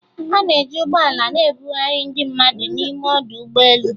A na-eji ụgbọ ala na-ebugharị ndị mmadụ n'ime ọdụ ụgbọ elu